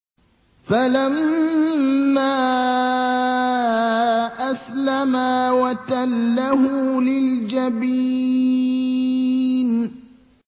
فَلَمَّا أَسْلَمَا وَتَلَّهُ لِلْجَبِينِ